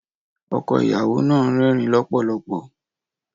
Ọkọ ìyàwó náà ń rẹ́rìn-ín lọ́pọ̀lọpọ̀.